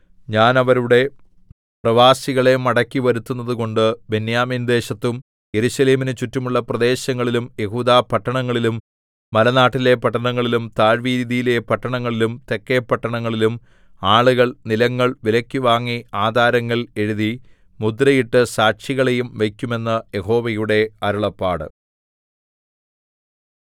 ഞാൻ അവരുടെ പ്രവാസികളെ മടക്കിവരുത്തുന്നതുകൊണ്ട് ബെന്യാമീൻദേശത്തും യെരൂശലേമിനു ചുറ്റുമുള്ള പ്രദേശങ്ങളിലും യെഹൂദാപട്ടണങ്ങളിലും മലനാട്ടിലെ പട്ടണങ്ങളിലും താഴ്വീതിയിലെ പട്ടണങ്ങളിലും തെക്കെ പട്ടണങ്ങളിലും ആളുകൾ നിലങ്ങൾ വിലയ്ക്കു വാങ്ങി ആധാരങ്ങൾ എഴുതി മുദ്രയിട്ട് സാക്ഷികളെയും വയ്ക്കും എന്ന് യഹോവയുടെ അരുളപ്പാട്